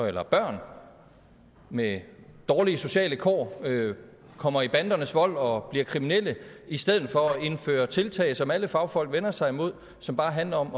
eller børn med dårlige sociale kår kommer i bandernes vold og bliver kriminelle i stedet for at indføre tiltag som alle fagfolk vender sig imod og som bare handler om